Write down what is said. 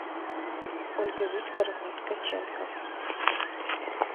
ольга викторовна ткаченко